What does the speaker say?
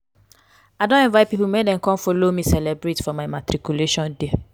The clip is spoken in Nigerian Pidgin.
i don invite pipo make dem come folo me celebrate for my matriculation day.